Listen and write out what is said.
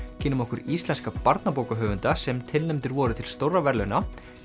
kynnum okkur íslenska barnabókahöfunda sem tilnefndir voru til stórra verðlauna